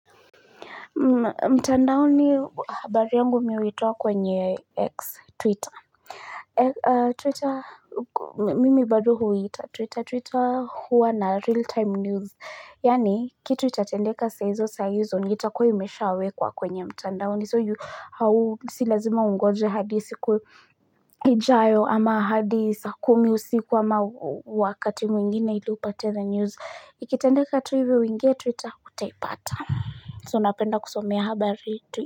Mtandaoni habari yangu mi huitoa kwenye x-Twitter. Twitter, mimi bado huiita. Twitter, Twitter huwa na real-time news. Yani, kitu itatendeka saizo saizo, ni itakua imeshawekwa kwenye mtandaoni. So, hau silazima ungoje hadi siku ijayo ama hadi saa kumi usiku ama wakati mwingine ili upate the news. Ikitendeka tu hivi, uingie Twitter utaipata. So napenda kusomea habari twi.